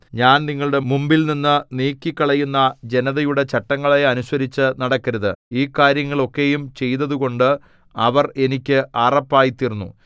ഞാൻ നിങ്ങളുടെ മുമ്പിൽനിന്നു നീക്കിക്കളയുന്ന ജനതയുടെ ചട്ടങ്ങളെ അനുസരിച്ചു നടക്കരുത് ഈ കാര്യങ്ങൾ ഒക്കെയും ചെയ്തതുകൊണ്ട് അവർ എനിക്ക് അറപ്പായി തീർന്നു